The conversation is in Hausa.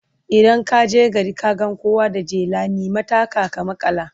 Idan ka je gari ka ga kowa da jela, nemi taka ka maƙala.